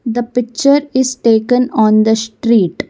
the picture is taken on the street.